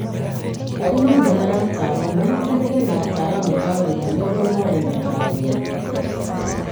Arĩmi nĩ marataarwo manyitanĩre na ataraamu a ũrĩmi nĩguo moone mataaro mega